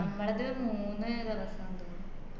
ഞമ്മളത്‌ മൂന്ന് ദിവസാന്ന് തോന്ന്